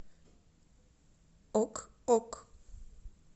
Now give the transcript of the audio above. ок ок